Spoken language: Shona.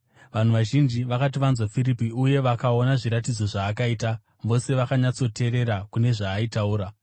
Vanhu vazhinji vakati vanzwa Firipi uye vakaona zviratidzo zvaakaita, vose vakanyatsoteerera kune zvaaitaura.